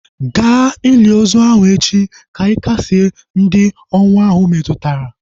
Ga ili ozi ahu echi ka ị kasịe ndị ọnwụ ahu metụtara!